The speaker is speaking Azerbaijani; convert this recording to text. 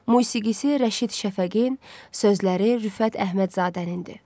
Musiqisi Rəşid Şəfəqin, sözləri Rüfət Əhmədzadənindir.